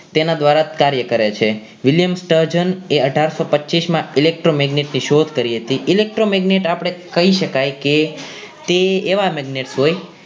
તેના દ્વારા કાર્ય કરે છે William sturgeon અઠારસો પચીશ માં electromagnetic ની શોધ કરી હતી electromagnet આપણે કહી શકાય કે તે એવા magnet હોય